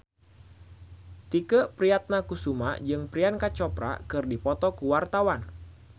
Tike Priatnakusuma jeung Priyanka Chopra keur dipoto ku wartawan